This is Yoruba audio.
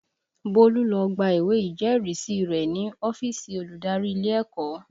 Bólú lọ gba ìwé ìjẹ́rìísí rẹ̀ ní ọ́fíìsì olùdarí ilé ẹ̀kọ́